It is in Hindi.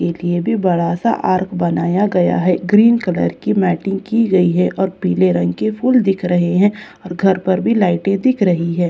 एक यह भी बड़ा सा आर्ट बनाया गया हुआ है ग्रींन कलर की मैटिंग की गयी है और पीले रंग की फूल दिख रही है और घर पर भी लाइटें दिख रही है।